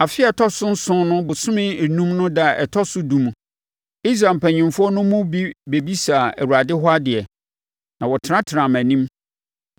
Afe a ɛtɔ so nson no bosome enum no ɛda a ɛtɔ so edu no, Israel mpanimfoɔ no mu bi bɛbisaa Awurade hɔ adeɛ, na wɔtenatenaa mʼanim.